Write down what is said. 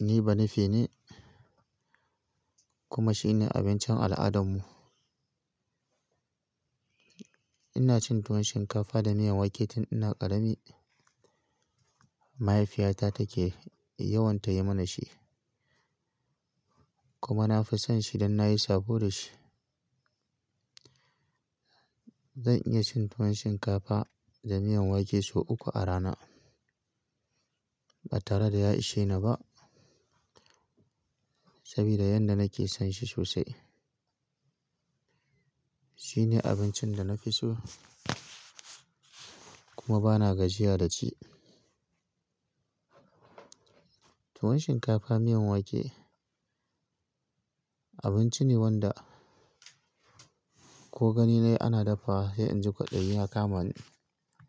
Ni banife ne kuma shine abincin al'adarmu. Ina cin tuwon shinkafa da miyan wake tun ina ƙarami. Mahaifiyata take yawan tayi mana shi kuma nafi son shi dan nayi sabo da shi. Zan iya cin tuwon shinkafa da miyan wake sau uku a rana ba tare da ya ishe ni ba, saboda yanda nake son shi sosai. Shine abincin da na fi so kuma bana gajiya da ci. Tuwon shinkafa miyan wake abinci ne wanda ko gani nayi ana dafawa sai in ji kwaɗayi ya kama ni.